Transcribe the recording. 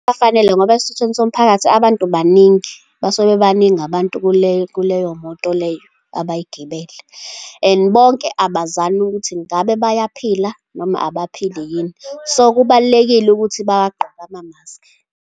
Kufanele, ngoba esithuthweni somphakathi, abantu baningi, basuke bebaningi abantu kuleyo moto leyo abayigibele, and bonke abazani ukuthi ngabe bayaphila noma abaphile yini. So, kubalulekile ukuthi bawagqoke amamaski.